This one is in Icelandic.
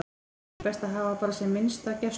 Er ekki best að hafa bara sem minnsta gæslu?